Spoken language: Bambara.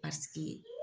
Paseke